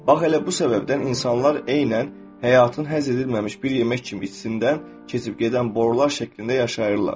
Bax elə bu səbəbdən insanlar eynən həyatın həzm edilməmiş bir yemək kimi içindən keçib gedən borular şəklində yaşayırlar.